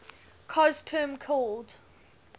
cos term called